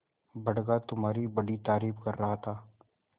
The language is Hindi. बड़का तुम्हारी बड़ी तारीफ कर रहा था